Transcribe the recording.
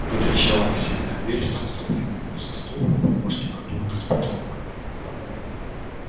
затрещала массивная дверь сам собой сдвинулся стол рухнула штукатурка с потолка